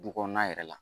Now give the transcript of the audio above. Du kɔnɔna yɛrɛ la